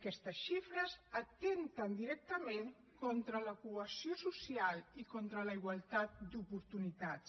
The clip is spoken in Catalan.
aquestes xifres atempten directament contra la cohesió social i contra la igualtat d’oportunitats